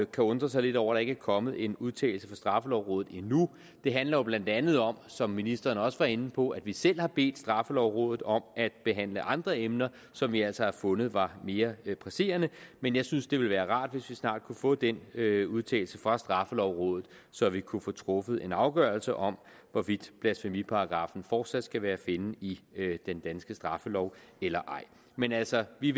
kan undre sig lidt over ikke er kommet en udtalelse fra straffelovrådet endnu det handler jo blandt andet om som ministeren også var inde på at vi selv har bedt straffelovrådet om at behandle andre emner som vi altså har fundet var mere presserende men jeg synes det ville være rart hvis vi snart kunne få den udtalelse fra straffelovrådet så vi kunne få truffet en afgørelse om hvorvidt blasfemiparagraffen fortsat skal være at finde i den danske straffelov eller ej men altså vi